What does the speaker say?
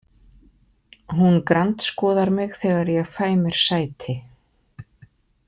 Hún grandskoðar mig þegar ég fæ mér sæti.